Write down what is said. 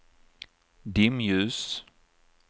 dimljus